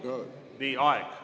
Nii, aeg!